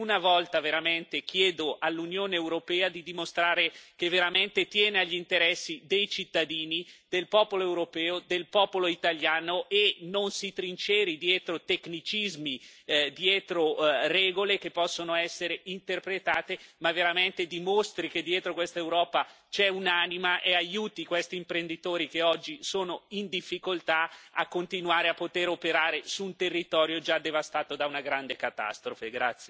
Per una volta chiedo all'Unione europea di dimostrare che tiene veramente agli interessi dei cittadini, del popolo europeo, del popolo italiano e non si trinceri dietro tecnicismi, dietro regole che possono essere interpretate, ma veramente dimostri che dietro questa Europa c'è un'anima e aiuti questi imprenditori che oggi sono in difficoltà a continuare a operare su un territorio già devastato da una grande catastrofe.